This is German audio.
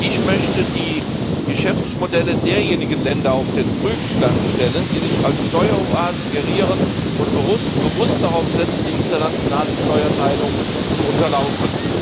Ich möchte die Geschäftsmodelle derjenigen Länder auf den Prüfstand stellen, die sich als Steueroasen gerieren und bewusst darauf setzen, die internationale Steuerteilung zu unterlaufen.